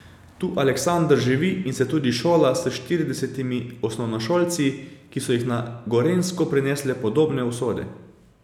Tu Aleksander živi in se tudi šola s štiridesetimi osnovnošolci, ki so jih na Gorenjsko prinesle podobne usode.